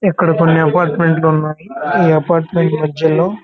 ఇక్కడ కొన్ని అపార్ట్మెంట్ లు ఉన్నాయి ఈ అపార్ట్మెంట్ మధ్యలో --